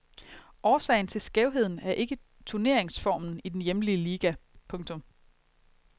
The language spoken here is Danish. Årsagen til skævheden er ikke turneringsformen i den hjemlige liga. punktum